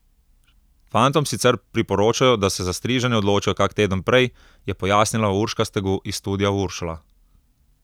Fantom sicer priporočajo, da se za striženje odločijo kak teden prej, je pojasnila Urška Stegu iz Studia Uršula.